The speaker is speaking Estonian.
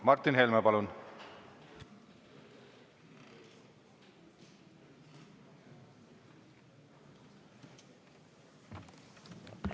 Martin Helme, palun!